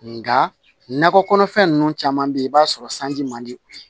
Nga nakɔ kɔnɔfɛn nunnu caman be ye i b'a sɔrɔ sanji man di u ye